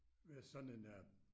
Ved sådan en øh